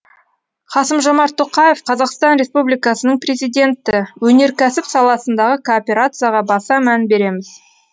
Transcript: қасым жомарт тоқаев қазақстан республикасының президенті өнеркәсіп саласындағы кооперацияға баса мән береміз